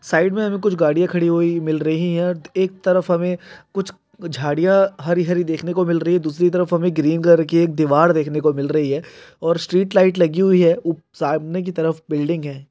Side मे अभी कुछ गड़िया खड़ी हुई हैं मिल रही हैं और एक तरफ हुमे कुछ झाड़ियाँ हरी हरी देखने को मिल रही हैं दूसरी तरफ हुमें ग्रीन कलर की एक दीवार देखने को मिल रही हैं और स्ट्रीट लाइट लगी हुई हैं सामने की तरफ बिल्डिंग हैं।